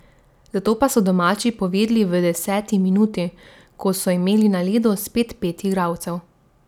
Zato pa so domači povedli v deseti minuti, ko so imeli na ledu spet pet igralcev.